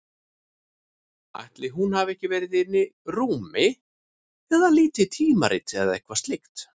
Ætli hún hafi ekki verið inni í rúmi að líta í tímarit eða eitthvað slíkt.